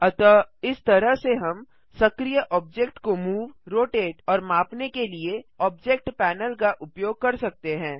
अतः इस तरह से हम सक्रीय ऑब्जेक्ट को मूव रोटेट और मापने के लिए ऑब्जेक्ट पैनल का उपयोग कर सकते हैं